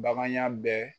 Bagan ya bɛɛ